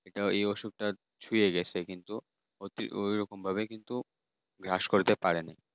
ওই অসুখটা ছুয়ে গেছে কিন্তু ওই রকম ভাবে কিন্তু গ্রাস করতে পারিনি।